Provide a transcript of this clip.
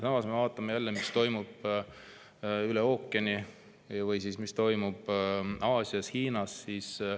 Aga vaatame jälle, mis toimub üle ookeani või mis toimub Aasias, Hiinas.